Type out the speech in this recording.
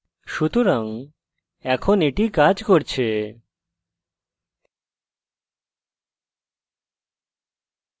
সুতরাং এখন এটি কাজ করছে